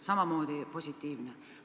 Samamoodi positiivne!